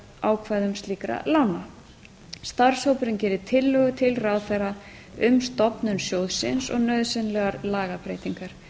á verðtryggingarákvæðum slíkra lána starfshópurinn geri tillögu til ráðherra um stofnun sjóðsins og nauðsynlegar lagabreytingar